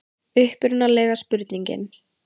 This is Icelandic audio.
Upprunalega spurningin: